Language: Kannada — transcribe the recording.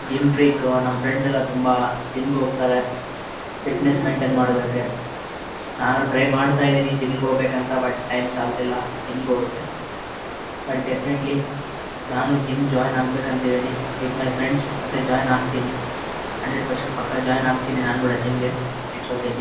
ಜಿಮ್ ನನ್ ಫ್ರೆಂಡ್ಸ್ ಎಲ್ಲಾ ತುಂಬಾ ಜಿಮ್ ಗೆ ಹೋಗ್ತಾರೆ ಫಿಟ್ನೆಸ್ ಮೇಂಟೈನ್ ಮಾಡೋದಿಕ್ಕೆ ನಾನು ಟ್ರೈ ಮಾಡ್ತಿದೀನಿ ಜಿಮ್ ಗೆ ಹೋಗ್ಬೇಕು ಅಂತ ಬಟ್ ಟೈಮ್ ಸಾಲ್ತಿಲ್ಲಾ ಜಿಮ್ ಗೆ ಹೋಗಕ್ಕೆ ಬಟ್ ಡೆಫಿನಿಟೇಲ್ಯ್ ನಾನು ಜಿಮ್ ಜಾಯಿನ್ ಆಗ್ಬೇಕು ಅಂತ ಹೇಳೀನಿ ವಿಥ್ ಮೈ ಫ್ರೆಂಡ್ಸ್ ಅಂತ ಜಾಯಿನ್ ಆಗ್ತೀನಿ. ಹಂಡ್ರೆಡ್ ಪೆರ್ಸೆಂಟ್ ಪಕ್ಕ ಜಾಯಿನ್ ಅಗಿತೀನಿ ನಾನು ಕೂಡ ಜಿಮ್ ಗೆ. It so okay --